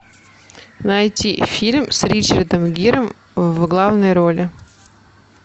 найти фильм с ричардом гиром в главной роли